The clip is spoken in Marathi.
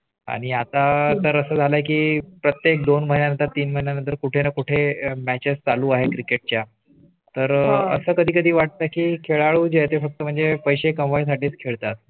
आणि आता तर असं झालं की प्रत्येक दोन महिन्या नंतर तीन महिन्या नंतर कुठे ना कुठे matches चालू आहे. Cricket च्या तर असं कधी कधी वाटतं की खेळ आहे. फक्त म्हणजे पैसे कमाई साठी खेळतात.